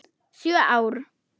Sjö ár?